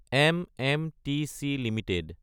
এমএমটিচি Ltd